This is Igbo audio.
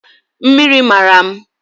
Mmiri mara m